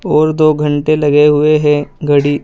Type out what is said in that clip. और दो घंटे लगे हुए है घड़ी--